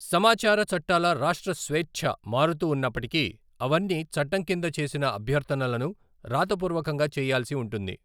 సమాచార చట్టాల రాష్ట్ర స్వేచ్ఛ మారుతూ ఉన్నప్పటికీ, అవన్నీ చట్టం కింద చేసిన అభ్యర్థనలను రాతపూర్వకంగా చేయాల్సి ఉంటుంది.